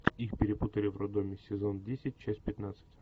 их перепутали в роддоме сезон десять часть пятнадцать